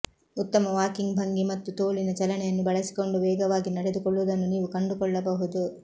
ಉತ್ತಮ ವಾಕಿಂಗ್ ಭಂಗಿ ಮತ್ತು ತೋಳಿನ ಚಲನೆಯನ್ನು ಬಳಸಿಕೊಂಡು ವೇಗವಾಗಿ ನಡೆದುಕೊಳ್ಳುವುದನ್ನು ನೀವು ಕಂಡುಕೊಳ್ಳಬಹುದು